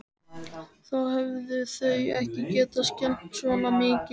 Þá hefðu þau ekki getað skemmt svona mikið.